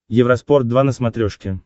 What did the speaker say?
евроспорт два на смотрешке